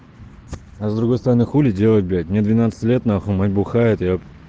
а с другой стороны хули делать блять мне двенадцать лет нахуй мать бухает епт